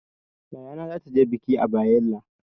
Yayana zata je bikin a Bayela.